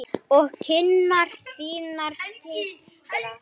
Tala ég ekki nógu skýrt?